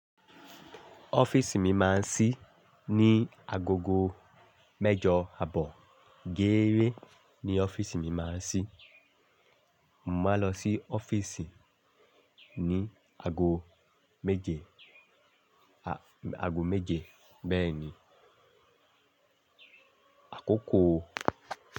Ọ́fíìsì mi máa ń ṣí ní agogo mẹ́jọ àbọ̀ gẹ́ẹ́rẹ́ ni ọ́fíìsì mi máa ń ṣí. Mo máa lọ sí ọ́fíìsì ní ago méje, ago méje bẹ́ẹ̀ni, àkókò.